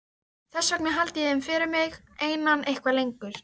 Þess vegna held ég þeim fyrir mig einan eitthvað lengur.